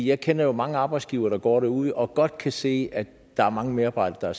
jeg kender jo mange arbejdsgivere der går derude og godt kan se at der er mange medarbejdere